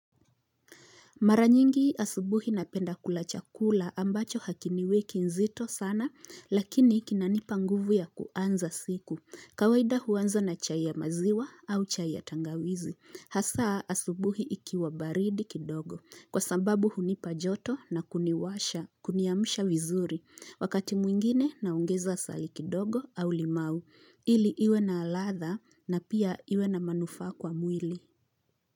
Mara nyingi asubuhi napenda kula chakula ambacho hakiniweki uzito sana lakini kinanipa nguvu ya kuanza siku. Kawaida huanza na chai ya maziwa au chai ya tangawizi. Hasa asubuhi ikiwa baridi kidogo kwasabu hunipa joto na kuniwasha kuniamsha vizuri. Wakati mwingine naongeza asali kidogo au limau ili iwe na ladha na pia iwe na manufa kwa mwili.